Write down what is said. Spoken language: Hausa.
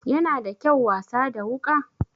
Yana da kyau wasa da wuka?